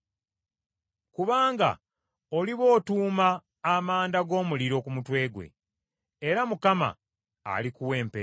Kubanga oliba otuuma amanda g’omuliro ku mutwe gwe, era Mukama alikuwa empeera.